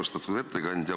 Austatud ettekandja!